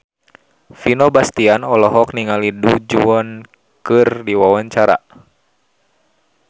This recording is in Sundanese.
Vino Bastian olohok ningali Du Juan keur diwawancara